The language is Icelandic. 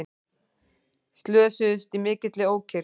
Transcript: Slösuðust í mikilli ókyrrð